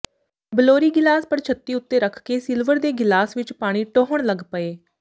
ਬਲੌਰੀ ਗਿਲਾਸ ਪੜਛੱਤੀ ਉਤੇ ਰੱਖ ਕੇ ਸਿਲਵਰ ਦੇ ਗਿਲਾਸ ਵਿਚ ਪਾਣੀ ਢੋਹਣ ਲੱਗ ਪਏ